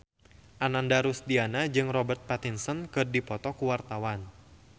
Ananda Rusdiana jeung Robert Pattinson keur dipoto ku wartawan